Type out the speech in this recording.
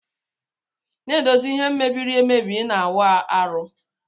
Na edozi ihe mebiri ebe ina awụ arụ.